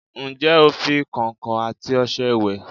Ǹjé o fi kọ̀ǹkọ̀ àti ọṣẹ wẹ̀?